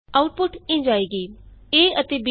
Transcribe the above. output ਇੰਝ ਆਏਗੀ a ਅਤੇ b ਦਾ ਜੋੜ 22 ਹੈ